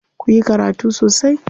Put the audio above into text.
Ku yi karatu sosai.